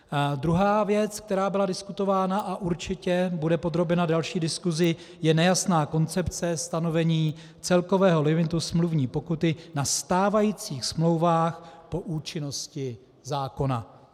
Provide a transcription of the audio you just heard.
Druhá věc, která byla diskutována a určitě bude podrobena další diskusi, je nejasná koncepce stanovení celkového limitu smluvní pokuty na stávajících smlouvách po účinnosti zákona.